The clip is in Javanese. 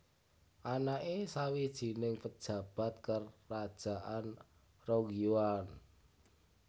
Anake sawijining pejabat kerajaan Rong Yuan